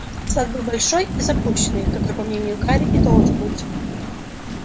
сад был большой и запущенный какой по мнению гарри и должен быть